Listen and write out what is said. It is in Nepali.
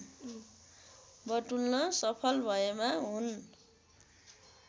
बटुल्न सफल भएमा हुन्